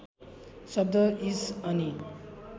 शब्द ईश अनि